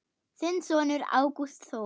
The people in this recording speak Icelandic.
Þinn sonur, Ágúst Þór.